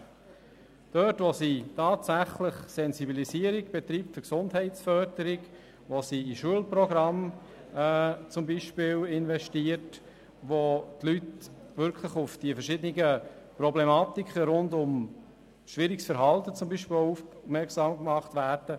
Sie leistet gute Arbeit oder löst zumindest gute Effekte in Bereichen aus, in denen sie tatsächlich Sensibilisierung für die Gesundheitsförderung betreibt, in Schulprogramme investiert oder wo die Leute wirklich auf die verschiedenen Problematiken rund um beispielsweise schwieriges Verhalten aufmerksam gemacht werden.